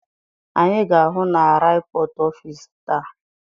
Anyị ga-ahụ na ripọt ọfịs taa.